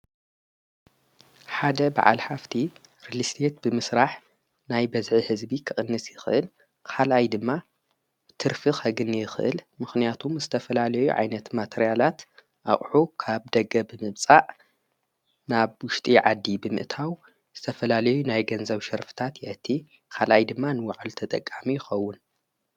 ሓደ ብዓል ሃፍቲ ርሊስት ብምስራሕ ናይ በዝዕ ሕዝቢ ኽቕንሲ ኽህል ኻልይ ድማ ትርፊኽ ሕግኒ ኽል ምኽንያቱም ዝተፈላለዩ ዓይነት ማተርያላት ኣቕሑ ካብ ደገ ብምጻእ ናብ ውሽጢ ዓዲ ብምእታው ስተፈላሌዩ ናይ ገንዘው ሸርፍታት የቲ ኻልኣይ ድማ ንወዕል ተጠቃሚ ይኸውን።